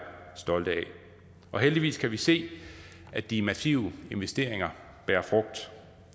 stolte af og heldigvis kan vi se at de massive investeringer bærer frugt